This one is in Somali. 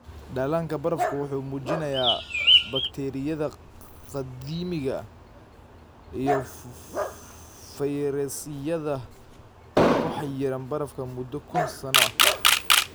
Dhallaanka barafku wuxuu muujinayaa bakteeriyada qadiimiga ah iyo fayrasyada ku xayiran barafka muddo kun sano ah.